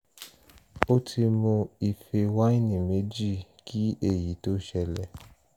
ó ti mu ife wáìnì méjì kí èyí tó ṣẹlẹ̀